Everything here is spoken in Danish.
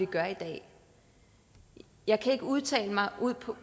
gør i dag jeg kan ikke udtale mig